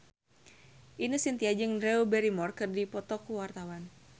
Ine Shintya jeung Drew Barrymore keur dipoto ku wartawan